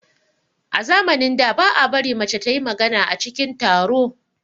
A zamanin da, ba a bari mace ta yi magana a cikin taro.